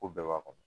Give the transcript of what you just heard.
Ko bɛɛ b'a kɔnɔ